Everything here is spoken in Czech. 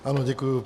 Ano děkuji.